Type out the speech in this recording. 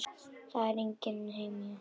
Það er engin hemja.